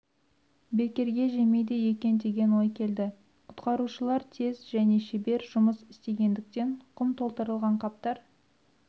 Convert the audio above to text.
бекерге жемейді екен деген ой келді құтқарушылар тез және шебер жұмыс істегендіктен құм толтырылған қаптар